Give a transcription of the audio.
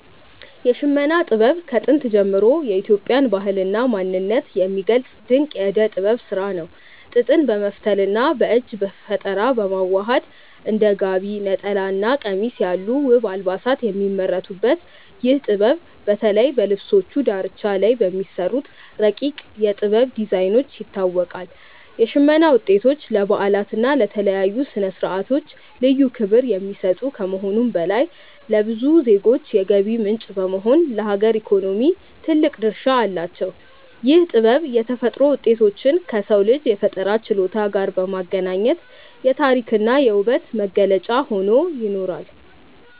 የሽመና ጥበብ ከጥንት ጀምሮ የኢትዮጵያን ባህልና ማንነት የሚገልጽ ድንቅ የእደ ጥበብ ስራ ነው። ጥጥን በመፍተልና በእጅ በፈጠራ በማዋሃድ እንደ ጋቢ፣ ነጠላና ቀሚስ ያሉ ውብ አልባሳት የሚመረቱበት ይህ ጥበብ፣ በተለይ በልብሶቹ ዳርቻ ላይ በሚሰሩት ረቂቅ የ"ጥበብ" ዲዛይኖች ይታወቃል። የሽመና ውጤቶች ለበዓላትና ለተለያዩ ስነ-ስርዓቶች ልዩ ክብር የሚሰጡ ከመሆኑም በላይ፣ ለብዙ ዜጎች የገቢ ምንጭ በመሆን ለሀገር ኢኮኖሚ ትልቅ ድርሻ አላቸው። ይህ ጥበብ የተፈጥሮ ውጤቶችን ከሰው ልጅ የፈጠራ ችሎታ ጋር በማገናኘት የታሪክና የውበት መገለጫ ሆኖ ይኖራል።